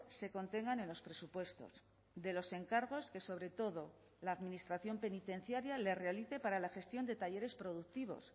se contengan en los presupuestos de los encargos que sobre todo la administración penitenciaria le realicé para la gestión de talleres productivos